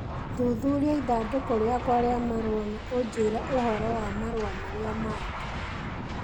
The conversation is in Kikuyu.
Thuthuria ithandũkũ rĩakwa rĩa marũa na ũnjĩĩre ũhoro wa marũa marĩa mangĩ